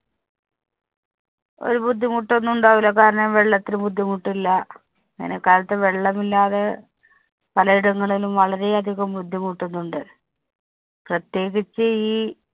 ഒരു ബുദ്ധിമുട്ടൊന്നും ഉണ്ടാവുല്ല. കാരണം വെള്ളത്തിന് ബുദ്ധിമുട്ടില്ല. വേനല്‍ക്കാലത്ത് വെള്ളമില്ലാതെ പലയിടങ്ങളിലും വളരെ അധികം ബുദ്ധിമുട്ടുന്നുണ്ട്. പ്രത്യേകിച്ച് ഈ